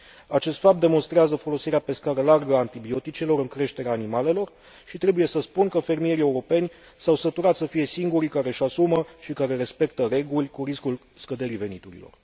Acest fapt demonstrează folosirea pe scară largă a antibioticelor în creșterea animalelor și trebuie să spun că fermierii europeni s au săturat să fie singurii care își asumă și care respectă reguli cu riscul scăderii veniturilor.